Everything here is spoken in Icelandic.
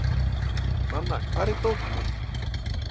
Nanna, hvar er dótið mitt?